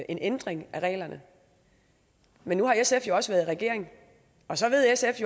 en ændring af reglerne men nu har sf jo også været i regering og så ved sf